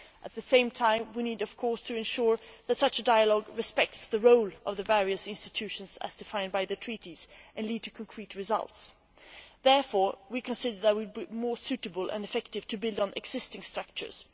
At the same time we need, of course, to ensure that such a dialogue respects the role of the various institutions as defined by the Treaties and leads to concrete results. We consider, therefore, that it would be more suitable and effective to build on existing structures